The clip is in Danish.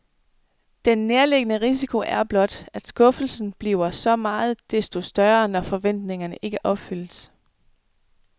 Den nærliggende risiko er blot, at skuffelsen bliver så meget desto større, når forventningerne ikke opfyldes.